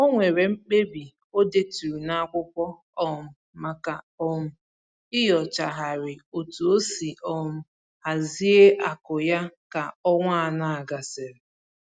O nwere mkpebi o deturu n'akwụkwọ um maka um inyochagharị otu o si um hazie akụ ya ka ọnwa anọ a gasịrị